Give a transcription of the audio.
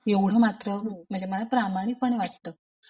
एवढं मात्र म्हणजे मला प्रामाणिकपणे वाटत.